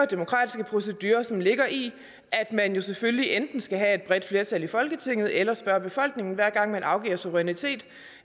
demokratiske procedure som ligger i at man selvfølgelig enten skal have et bredt flertal i folketinget eller spørge befolkningen hver gang man afgiver suverænitet